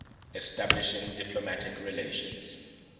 establishing diplomatic relations